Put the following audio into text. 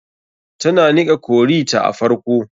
Tana niƙa curry ta a farko.